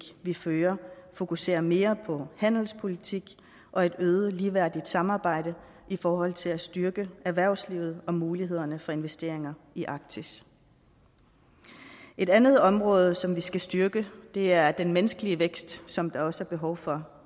vi fører fokuserer mere på handelspolitik og et øget ligeværdigt samarbejde i forhold til at styrke erhvervslivet og mulighederne for investeringer i arktis et andet område som vi skal styrke er den menneskelige vækst som der også er behov for